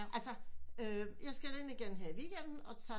Altså øh jeg skal der ind igen her i weekenden og